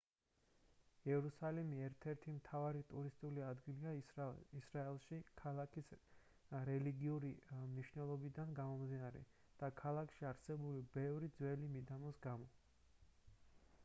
იერუსალიმი ერთ-ერთი მთავარი ტურისტული ადგილია ისრაელში ქალაქის რელიგიური მნიშვნელობიდან გამომდინარე და ქალაქში არსებული ბევრი ძველი მიდამოს გამო